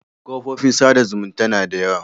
Kofofin sa da zumunta na da yawa